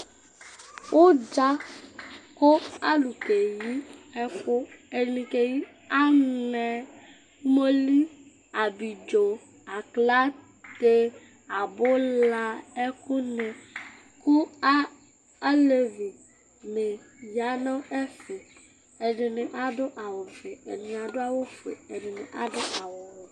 Ʋdza kʋ alʋnɩ akeyi ɛkʋ Ɛdɩ keyi anɛ, umoli, abidzo, aklate, abula nʋ ɛkʋ nɩ, kʋ alevi nɩ aya nʋ ɛfɛ Ɛdɩnɩ adʋ awʋfɩ, ɛdɩnɩ adʋ awʋfue, ɛdɩnɩ adʋ awʋwɛ